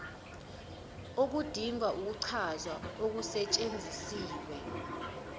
okudinga ukuchazwa okusetshenzisiwe